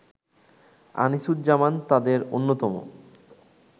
আনিসুজ্জামান তাঁদের অন্যতম